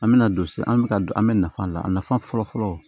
An bɛ na don se an bɛ ka don an bɛ nafa la a nafa fɔlɔ fɔlɔ